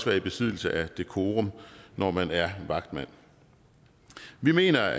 være i besiddelse af decorum når man er vagtmand vi mener